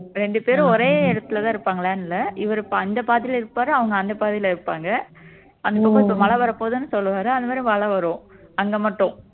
ரெண்டு பேரும் ஒரே இடத்துலதான் இருப்பாங்களான்னு இல்லை இவரு அந்த பாதியில இருப்பாரு அவங்க அந்த பாதியில இருப்பாங்க அங்க கொஞ்சம் மழை வரப்போகுதுன்னு சொல்லுவாரு அந்த மாதிரி மழை வரும் அங்க மட்டும்